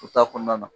U ta kɔnɔna na